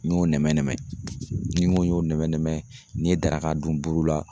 N y'o nɛmɛ-nɛmɛ ni ŋo n y'o nɛmɛ-nɛmɛ n'i ye daraka dun buru la